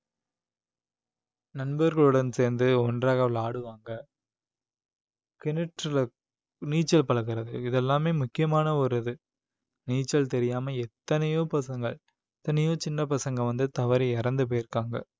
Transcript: நண்பர்களுடன் சேர்ந்து ஒன்றாக விளையாடுவாங்க கிணற்றுல நீச்சல் பழகுறது இது எல்லாமே முக்கியமான ஒரு இது நீச்சல் தெரியாம எத்தனையோ பசங்க எத்தனையோ சின்ன பசங்க வந்து தவறி இறந்து போயிருக்காங்க